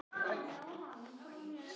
Hann styrkist bara með aldrinum